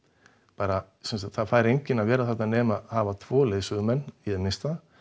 bara það fær enginn að vera þarna nema hafa tvo leiðsögumenn í það minnsta